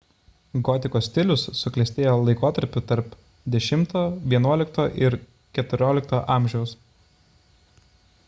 gotikos stilius suklestėjo laikotarpiu tarp x–xi ir xiv amžiaus